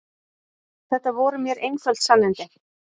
Þetta voru mér einföld sannindi.